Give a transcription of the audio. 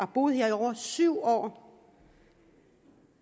boet her i over syv år